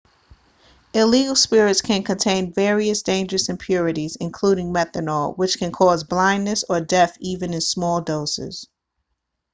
illegal spirits can contain various dangerous impurities including methanol which can cause blindness or death even in small doses